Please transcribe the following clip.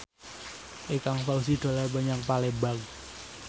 Ikang Fawzi dolan menyang Palembang